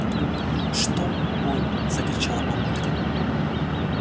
что ой закричала мамулька